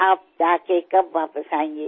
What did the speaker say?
आप जा के कब वापस आयेंगे